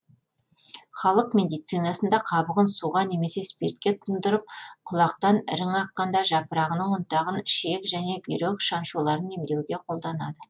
халық медицинасында қабығын суға немесе спиртке тұндырып құлақтан ірің аққанда жапырағының ұнтағын ішек және бүйрек шаншуларын емдеуге қолданады